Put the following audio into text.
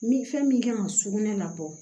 Ni fɛn min kan ka sugunɛ labɔ